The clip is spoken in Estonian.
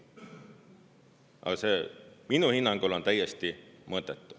Aga see minu hinnangul on täiesti mõttetu.